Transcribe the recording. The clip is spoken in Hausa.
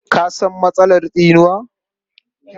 Ka san matsalar tsinuwa?